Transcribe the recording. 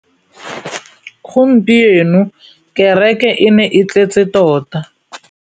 Gompieno kêrêkê e ne e tletse tota.